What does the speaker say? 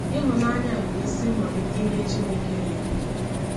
Ịhụnanya bụ isi mmalite ihe Chineke na-eme.